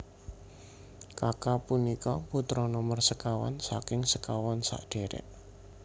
Kaka punika putra nomer sekawan saking sekawan sadherek